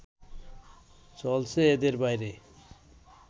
চলছে এদের বাইরে